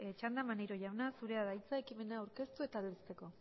txanda maneiro jauna zurea da hitza ekimena aurkeztu eta aldezteko